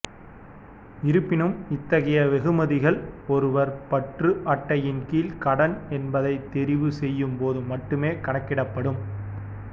இருப்பினும் இத்தகைய வெகுமதிகள் ஒருவர் பற்று அட்டையின் கீழ் கடன் என்பதைத் தெரிவு செய்யும்போது மட்டுமே கணக்கிடப்படும்